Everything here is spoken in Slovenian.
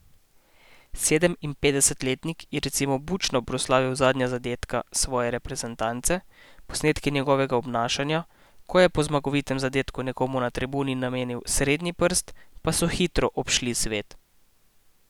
Sedeminpetdesetletnik je recimo bučno proslavil zadnja zadetka svoje reprezentance, posnetki njegovega obnašanja, ko je po zmagovitem zadetku nekomu na tribuni namenil srednji prst, pa so hitro obšli svet.